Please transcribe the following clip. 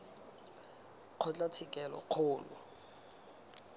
kgotlatshekelokgolo